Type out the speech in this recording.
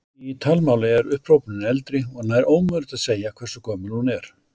Í talmáli er upphrópunin eldri og nær ómögulegt að segja hversu gömul hún er.